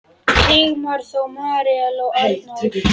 Sigmar Þór, Marel og Arnór.